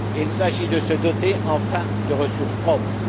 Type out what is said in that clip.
Il s'agit de se doter enfin de ressources propres.